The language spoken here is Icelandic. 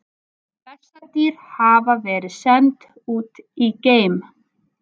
Bessadýr hafa verið send út í geim!